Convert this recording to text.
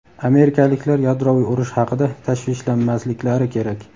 amerikaliklar yadroviy urush haqida tashvishlanmasliklari kerak.